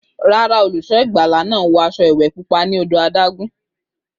Rárá, olùṣọ́ ìgbàlà náà wọ aṣọ ìwẹ̀ pupa ní odò adágún.